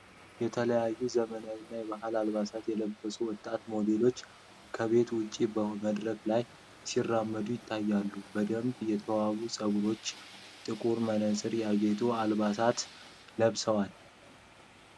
የተለያዩ የዘመናዊና ባህላዊ አልባሳትን የለበሱ ወጣት ሞዴሎች ከቤት ውጪ በመድረክ ላይ ሲራመዱ ይታያሉ። በደንብ የተዋቡ ፀጉርና ጥቁር መነፅሮች ያጌጡ አልባሳትን ለብሰዋል።